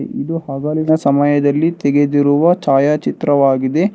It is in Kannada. ಇದು ಹಗಲಿನ ಸಮಯದಲ್ಲಿ ತೆಗೆದಿರುವ ಛಾಯಾಚಿತ್ರವಾಗಿದೆ.